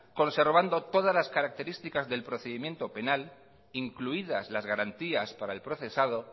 conservando todas las características del procedimiento penal incluidas las garantías para el procesado